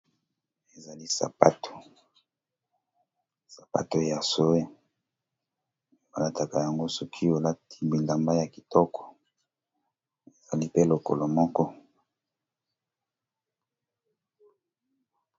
Ezali sapato ya sowe balakayango soki olati bilamba yakitoko ezalipe lokolo moko